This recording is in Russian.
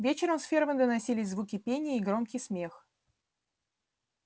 вечером с фермы доносились звуки пения и громкий смех